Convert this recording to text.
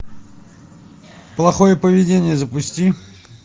плохое поведение запусти